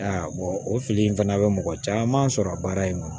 o fili in fana bɛ mɔgɔ caman sɔrɔ a baara in kɔnɔ